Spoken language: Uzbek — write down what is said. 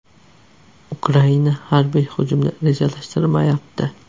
Ukraina harbiy hujumni rejalashtirmayapti.